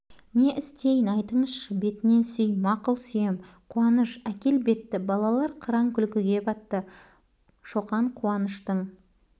не істейін айтыңызшы бетінен сүй мақұл сүйем қуаныш әкел бетті балалар қыран күлкіге батты шоқан куаныштың